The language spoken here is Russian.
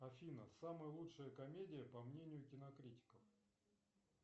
афина самая лучшая комедия по мнению кинокритиков